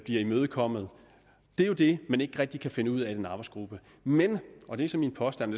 imødekommet det er jo det man ikke rigtig kan finde ud af i den arbejdsgruppe men og det er så min påstand